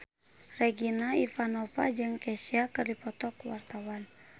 Regina Ivanova jeung Kesha keur dipoto ku wartawan